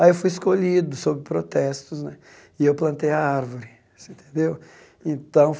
Aí eu fui escolhido, sob protestos né, e eu plantei a árvore. Você entendeu então